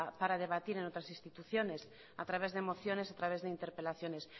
para debatir en otras instituciones a través de emociones y a través de interpelaciones